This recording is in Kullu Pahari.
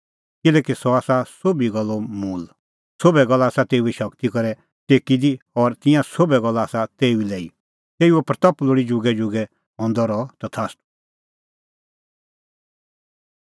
किल्हैकि सह आसा सोभी गल्लो मूल़ सोभै गल्ला आसा तेऊए शगती करै टेकी दी और ईंयां सोभै गल्ला आसा तेऊ ई लै तेऊए महिमां लोल़ी जुगैजुगै हंदी रही तथास्तू